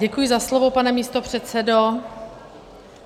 Děkuji za slovo, pane místopředsedo.